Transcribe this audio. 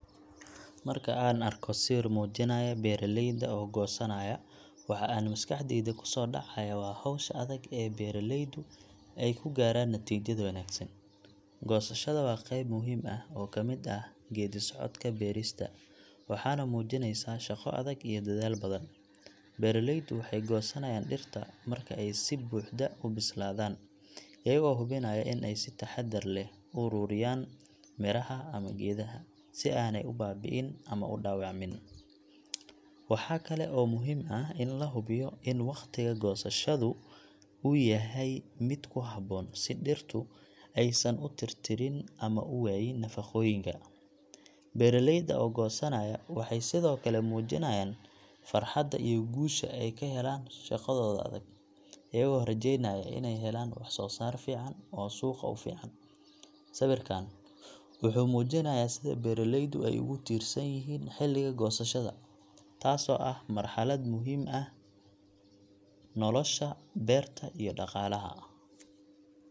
Marka aan arko sawir muujinaya beeraleyda oo goosanaya, waxa aan maskaxdayda ku soo dhacaya waa hawsha adag ee beeralaydu ay ku gaadhaan natiijada wanaagsan. Goosashada waa qayb muhiim ah oo ka mid ah geeddi-socodka beerista, waxaana muujinaysa shaqo adag iyo dadaal badan. Beeraleydu waxay goosanayaan dhirta marka ay si buuxda u bislaadaan, iyagoo hubinaya in ay si taxadar leh u ururiyaan miraha ama geedaha, si aanay u baabi'in ama u dhaawacmin. Waxa kale oo muhiim ah in la hubiyo in waqtiga goosashada uu yahay mid ku habboon si dhirtu aysan u tirtirin ama u waayin nafaqooyinka. Beeraleyda oo goosanaya waxay sidoo kale muujinayaan farxadda iyo guusha ay ka helaan shaqadooda adag, iyagoo rajeynaya inay helaan wax-soo-saar fiican oo suuqa u fiican. Sawirkaan wuxuu muujinayaa sida beeralaydu ay ugu tiirsan yihiin xilliga goosashada, taasoo ah marxalad muhiim u ah nolosha beerta iyo dhaqaalaha bulshada.